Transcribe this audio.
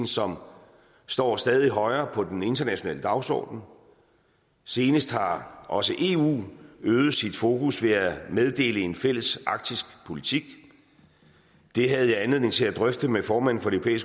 som står stadig højere på den internationale dagsorden senest har også eu øget sit fokus ved at meddele en fælles arktisk politik det havde jeg anledning til at drøfte med formanden for det